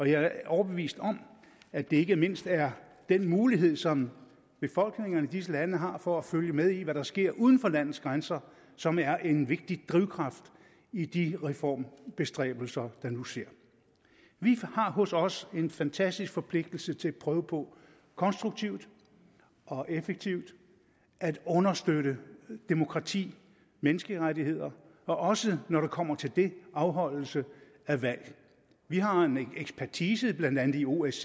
jeg er overbevist om at det ikke mindst er den mulighed som befolkningerne i disse lande har for at følge med i hvad der sker uden for landets grænser som er en vigtig drivkraft i de reformbestræbelser der nu sker vi har hos os en fantastisk forpligtelse til at prøve på konstruktivt og effektivt at understøtte demokrati menneskerettigheder og også når det kommer til det afholdelse af valg vi har en ekspertise blandt andet i osce